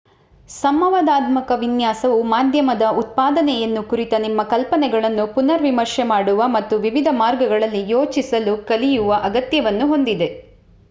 ಸಂವಾದಾತ್ಮಕ ವಿನ್ಯಾಸವು ಮಾಧ್ಯಮದ ಉತ್ಪಾದನೆಯನ್ನು ಕುರಿತ ನಿಮ್ಮ ಕಲ್ಪನೆಗಳನ್ನು ಪುನರ್ ವಿಮರ್ಶೆ ಮಾಡುವ ಮತ್ತು ವಿವಿಧ ಮಾರ್ಗಗಳಲ್ಲಿ ಯೋಚಿಸಲು ಕಲಿಯುವ ಅಗತ್ಯವನ್ನು ಹೊಂದಿದೆ